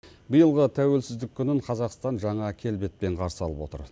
биылғы тәуелсіздік күнін қазақстан жаңа келбетпен қарсы алып отыр